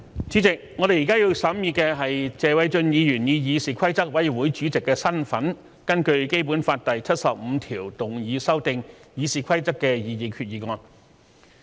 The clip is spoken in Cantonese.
主席，我們現在要審議的，是謝偉俊議員以議事規則委員會主席的身份根據《基本法》第七十五條動議修訂《議事規則》的擬議決議案。